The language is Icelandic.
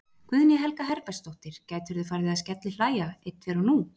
Guðný Helga Herbertsdóttir: Gætirðu farið að skellihlæja einn tveir og nú?